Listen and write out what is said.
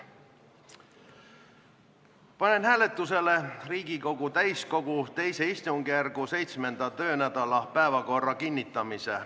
Panen hääletusele Riigikogu täiskogu II istungjärgu 7. töönädala päevakorra kinnitamise.